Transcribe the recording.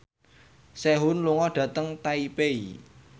Sehun lunga dhateng Taipei